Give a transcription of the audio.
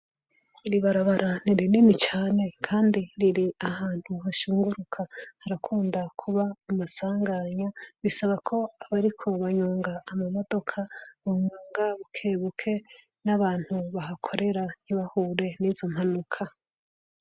Iri barabara ni rinini cane kandi riri ahantu hashunguruka, harakunda kuba amasanganya bisaba ko abariko banyonga amamodoka banyonga bukebuke n'abantu bahakorera ntibahure n'izo mpanuka.